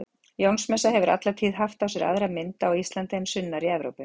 Jónsmessa hefur alla tíð haft á sér aðra mynd á Íslandi en sunnar í Evrópu.